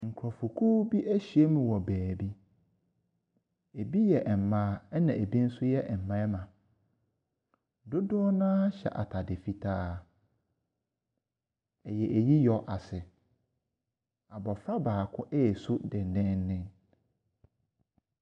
Nkorɔfokuo bi ɛhyia mu wɔ baabi. Ebi yɛ mmaa ɛna ebi yɛ mmarimma. Dodoɔ naa hyɛ ataade fitaa. Ɛyɛ ayiyɔ ase. Abofra baako ɛresu dendenden.